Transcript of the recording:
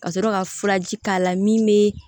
Ka sɔrɔ ka furaji k'a la min bɛ